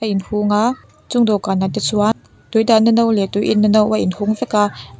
hung a chung dawhkanah te chuan tui dahna no leh tui inna no a in hung vek a.